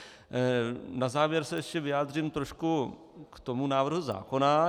Na závěr se ještě vyjádřím trošku k tomu návrhu zákona.